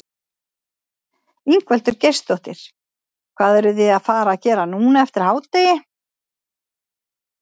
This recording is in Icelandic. Ingveldur Geirsdóttir: Hvað eruð þið að fara gera núna eftir hádegi?